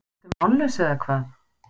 Ertu mállaus, eða hvað?